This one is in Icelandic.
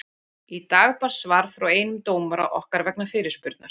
Í dag barst svar frá einum dómara okkar vegna fyrirspurnar.